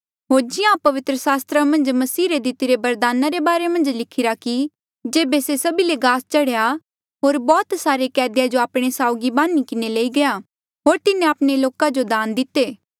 होर जिहां पवित्र सास्त्र मन्झ मसीह रे दितिरे बरदाना रे बारे मन्झ लिखिरा कि जेबे से सभी ले गास चढ़ेया होर बौह्त सारे कैदिया जो आपणे साउगी बांधी किन्हें लेई गया होर तिन्हें आपणे लोका जो दान दिते